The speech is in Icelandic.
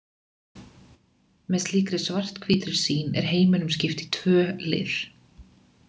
Með slíkri svart-hvítri sýn er heiminum skipt í tvö lið.